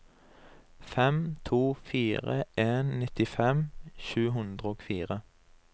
fem to fire en nittifem sju hundre og fire